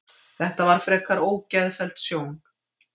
Þetta var frekar ógeðfelld sjón